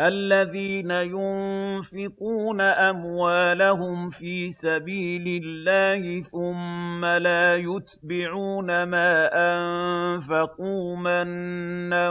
الَّذِينَ يُنفِقُونَ أَمْوَالَهُمْ فِي سَبِيلِ اللَّهِ ثُمَّ لَا يُتْبِعُونَ مَا أَنفَقُوا مَنًّا